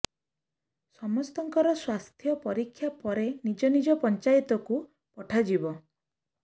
ସମସ୍ତଙ୍କର ସ୍ୱାସ୍ଥ୍ୟ ପରୀକ୍ଷା ପରେ ନିଜ ନିଜ ପଞ୍ଚାୟତକୁ ପଠାଯିବ